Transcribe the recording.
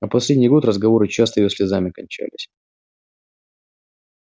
а последний год разговоры часто её слезами кончались